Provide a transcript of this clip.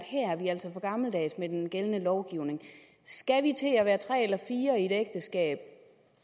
vi altså for gammeldags med den gældende lovgivning skal vi til at være tre eller fire i et ægteskab